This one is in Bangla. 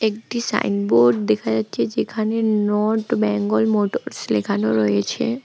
একটি সাইনবোর্ড দেখা যাচ্ছে যেখানে নর্থ ব্যাঙ্গল মোটরস লেখানো রয়েছে।